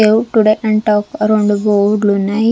గావే today and talk ఆ రెండు బోర్డులు ఉన్నాయి.